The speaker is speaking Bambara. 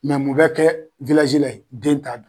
mun bɛ kɛ la yen? Den ta